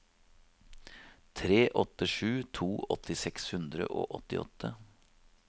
tre åtte sju to åtti seks hundre og åttiåtte